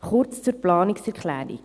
Kurz zur Planungserklärung: